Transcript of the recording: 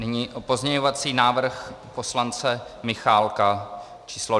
Nyní pozměňovací návrh poslance Michálka písm.